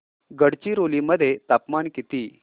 गडचिरोली मध्ये तापमान किती